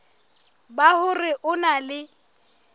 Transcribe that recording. ba hore o na le